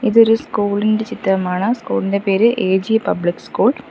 ഇതൊരു സ്കൂൾ ഇൻ്റെ ചിത്രമാണ് സ്കൂൾ ഇൻ്റെ പേര് എ_ജി പബ്ലിക് സ്കൂൾ .